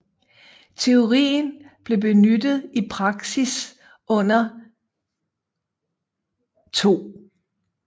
Teorien blev benyttet i praksis under 2